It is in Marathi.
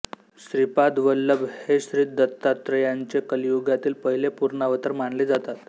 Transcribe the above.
श्रीपाद वल्लभ हे श्रीदत्तात्रेयांचे कलियुगातील पहिले पूर्णावतार मानले जातात